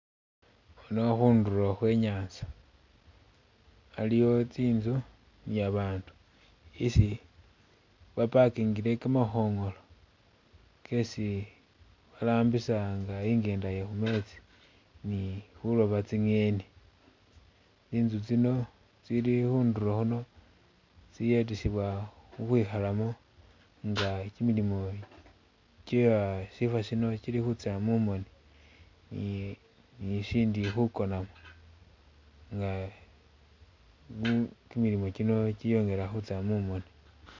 Khuno, khundulo khwe nyatsa, aliwo tsi'nzu ni a bandu isi ba parkingile kamakhongolo kesi barambisa nga inghenda iye khumetsi ni khuloba tsinyeni , tsi'nzu tsino tsili khundulo khuno tsiyetesebwa ukhwikhalamo nga kyimilimo kye ashifo shino kyili khutsa mumoni ,ni- ni- ni shindi khukonamo nga khu- kyimilimo kyino kyiyongela khutsya mumoni.